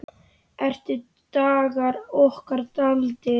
Eru dagar okkar taldir?